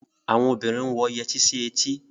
Àwon obinrin ń wọ yẹtí sí etí.